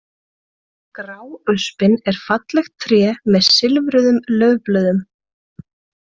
Gráöspin er fallegt tré með silfruðum laufblöðum.